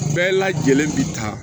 Bɛɛ lajɛlen bi taa